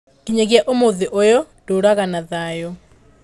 Nginyagia ũmũthĩ ũyũ, ndũũraga na thayũ.